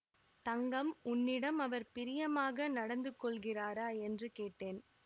தங்கம் உன்னிடம் அவர் பிரியமாக நடந்துகொள்கிறாரா என்று கேட்டேன்